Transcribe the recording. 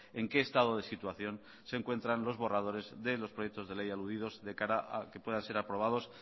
en qué estado de situación se encuentran los borradores de los proyectos de ley aludidos de cara a que puedan ser aprobados